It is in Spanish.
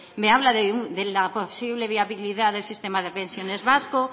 me habla de la posible viabilidad del sistema de pensiones vasco